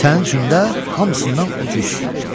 Sənin üçün də hamısından ucuz.